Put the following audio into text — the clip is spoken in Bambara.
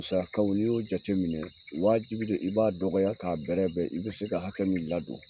Musakaw n'i y'o jateminɛ wajibi de i b'a dɔgɔya k'a bɛɛrɛ bɛɛ i bɛ se ka hakɛ min ladon